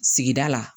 Sigida la